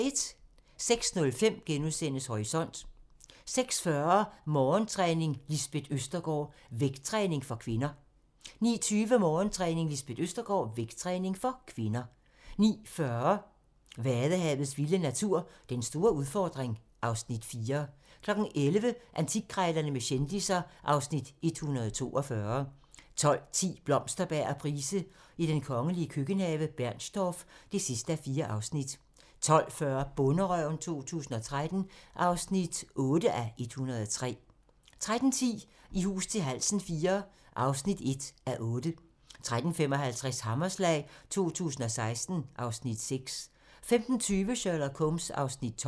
06:05: Horisont * 06:40: Morgentræning: Lisbeth Østergaard - vægttræning for kvinder 09:20: Morgentræning: Lisbeth Østergaard - vægttræning for kvinder 09:40: Vadehavets vilde natur: Den store udfordring (Afs. 4) 11:00: Antikkrejlerne med kendisser (Afs. 142) 12:10: Blomsterberg og Price i den kongelige køkkenhave: Bernstorff (4:4) 12:40: Bonderøven 2013 (8:103) 13:10: I hus til halsen IV (1:8) 13:55: Hammerslag 2016 (Afs. 6) 15:20: Sherlock Holmes (12:45)